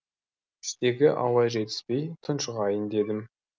іштегі ауа жетіспей тұншығайын дедім